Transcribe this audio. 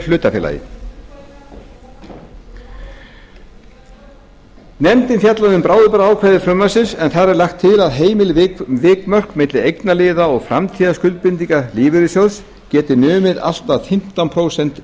hlutafélagi nefndin fjallaði um bráðabirgðaákvæði frumvarpsins en þar er lagt til að heimil vikmörk milli eignaliða og framtíðarskuldbindinga lífeyrissjóðs geti numið allt að fimmtán prósent